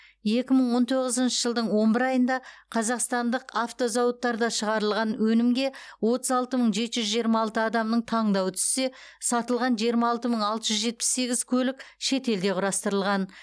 екі мың он тоғызыншы жылдың он бір айында қазақстандық автозауыттарда шығарылған өнімге отыз алты мың жеті жүз жиырма алты адамның таңдауы түссе сатылған жиырма алты мың алты жүз жетпіс сегіз көлік шетелде құрастырылған